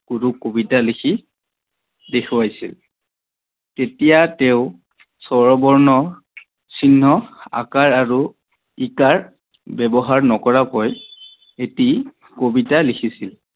গুৰুক কবিতা লিখি দেখুৱাইছিল, তেতিয়া তেও স্বৰবৰ্ণ চিহ্ন আ কাৰ আৰু ই কাৰ ব্যৱহাৰ নকৰাকৈ এটি কবিতা লিখিছিল।